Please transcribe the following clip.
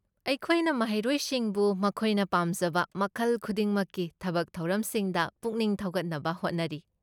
ꯑꯩꯈꯣꯏꯅ ꯃꯍꯩꯔꯣꯏꯁꯤꯡꯕꯨ ꯃꯈꯣꯏꯅ ꯄꯥꯝꯖꯕ ꯃꯈꯜ ꯈꯨꯗꯤꯡꯃꯛꯀꯤ ꯊꯕꯛ ꯊꯧꯔꯝꯁꯤꯡꯗ ꯄꯨꯛꯅꯤꯡ ꯊꯧꯒꯠꯅꯕ ꯍꯣꯠꯅꯔꯤ꯫